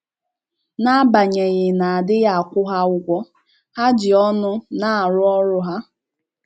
‘ N’agbanyeghị na a dịghị akwụ ha ụgwọ, ha ji ọṅụ na - arụ ọrụ ha! ’